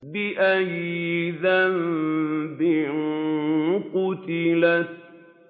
بِأَيِّ ذَنبٍ قُتِلَتْ